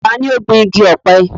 ta ni ó gbin igi ọ̀pẹ?